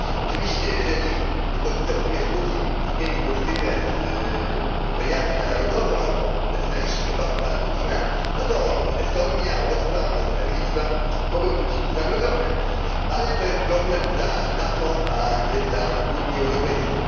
Oczywiście, jeżeli któregoś dnia Włodzimierz Putin zmieni politykę z imperialnej na narodową albo nacjonaliści obalą pana Putina, no to Estonia, Łotwa, może nawet Litwa mogą czuć się zagrożone, ale to jest problem dla NATO, a nie dla Unii Europejskiej.